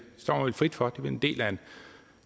frit for det vel en del af en